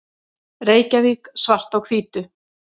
Reykjavík, Svart á hvítu.